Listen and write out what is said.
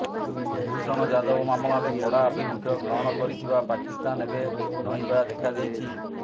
କୁଳଭୂଷଣ ଯାଦବ ମାମଲାରେ କଡା ଆଭିମୁଖ୍ୟ ଗ୍ରହଣ କରିଥିବା ପାକିସ୍ତାନ ଏବେ ନଇଁବା ଦେଖାଦେଇଛି